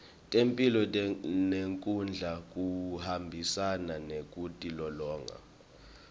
temphilo nekudla kuhambisana nekutilolonga